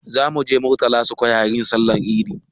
Za mu je murtala square yin Sallar idi